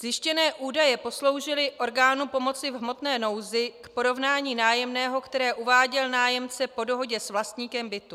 Zjištěné údaje posloužily orgánu pomoci v hmotné nouzi k porovnání nájemného, které uváděl nájemce po dohodě s vlastníkem bytu.